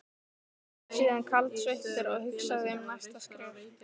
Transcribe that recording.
Hann sat síðan kaldsveittur og hugsaði um næsta skref.